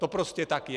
To prostě tak je.